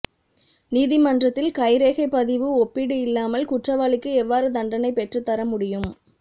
நீதிமன்றத்தில் கைரேகைப் பதிவு ஒப்பீடு இல்லாமல் குற்றவாளிக்கு எவ்வாறு தண்டனை பெற்றுத் தர முடியும்